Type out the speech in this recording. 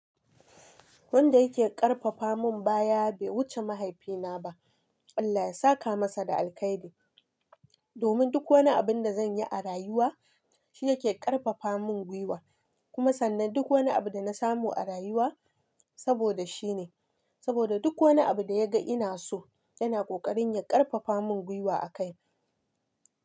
Wanda yake ƙarfafa mun baya bai wuce mahaifina ba. Allah ya saka masa da alkhairi. Domin duk wani abun da zan yi a rayuwa, shi yake ƙarfafa mun gwuiwa. Kuma sannan duk wani abu da na samu a rayuwa saboda shi ne. Saboda duk wani abu da ya ga ina so, yana ƙoƙarin ya ƙarfafa mun gwuiwa a kai.